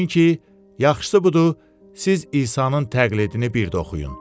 Çünki yaxşısı budur, siz İsanın təqlidini bir də oxuyun.